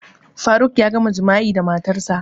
Faruk ya gama jima'i da matarsa